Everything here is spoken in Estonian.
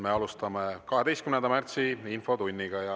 Me alustame 12. märtsi infotundi.